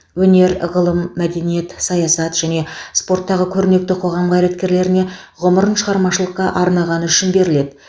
өнер ғылым мәдениет саясат және спорттағы көрнекті қоғам қайраткерлеріне ғұмырын шығармашылыққа арнағаны үшін беріледі